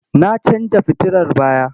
Na canja fitilar baya?